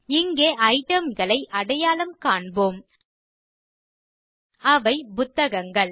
இங்கே itemகளை அடையாளம் காண்போம் அவை புத்தகங்கள்